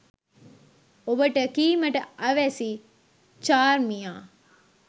ඔබට කීමට අවැසි චාර්මියා